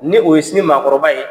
Ni o ye sini maakɔrɔba ye.